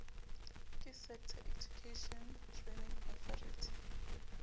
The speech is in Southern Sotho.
ke sector education training authority